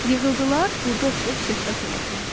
Yığıldılar, burda oturub söhbət elədilər.